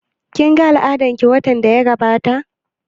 Kin ga al'adan ki watan da ya gabata?